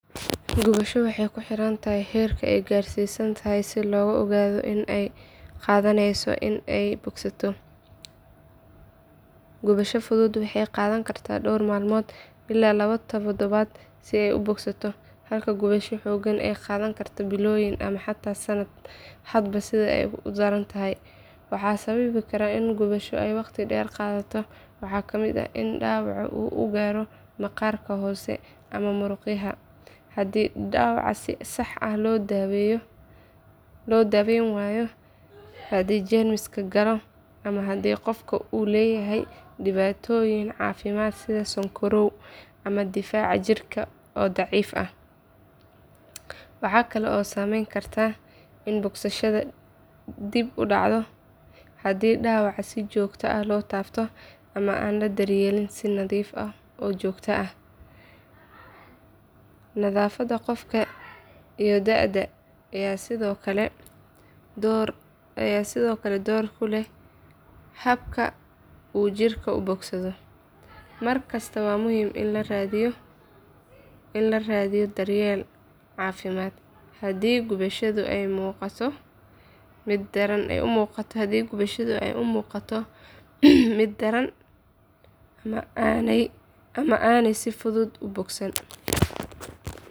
Gubasho waxay ku xiran tahay heerka ay gaarsiisan tahay si loo ogaado inta ay qaadaneyso in ay bogsato. Gubashada fudud waxay qaadan kartaa dhowr maalmood ilaa laba toddobaad si ay u bogsato halka gubashooyin xooggan ay qaadan karaan bilooyin ama xataa sannad hadba sida ay u daran tahay. Waxa sababi kara in gubasho ay waqti dheer qaadato waxaa ka mid ah in dhaawaca uu gaaro maqaarka hoose ama murqaha, haddii dhaawaca si sax ah loo daweyn waayo, haddii jeermis galo, ama haddii qofku uu leeyahay dhibaatooyin caafimaad sida sonkorow ama difaac jirka oo daciif ah. Waxa kale oo saamayn karta in bogsashada dib u dhacdo haddii dhaawaca si joogto ah loo taabto ama aan la daryeelin si nadiif ah oo joogto ah. Nafaqada qofka iyo da'da ayaa sidoo kale door ku leh habka uu jirku u bogsado. Markasta waa muhiim in la raadiyo daryeel caafimaad haddii gubashada ay muuqato mid daran ama aanay si fudud u bogsan.